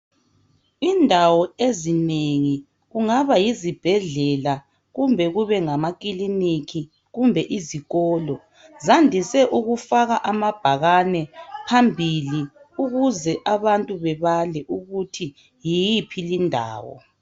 Indawo ezinengi, kungabe yizibhedlela kumbe kube ngamakiliki, kumbe izikolo Zandise ukufaka amabhakani phambili ukuze abantu bebale ukuthi yiphi indawo.